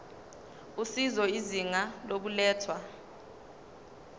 usizo izinga lokulethwa